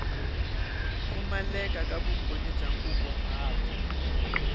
pfumaleka ka vumbhoni bya nkunguhato